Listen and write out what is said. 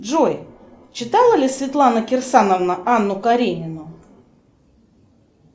джой читала ли светлана кирсановна анну каренину